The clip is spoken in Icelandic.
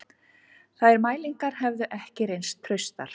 Þær mælingar hefðu ekki reynst traustar